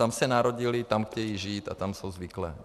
Tam se narodili, tam chtějí žít a tam jsou zvyklí.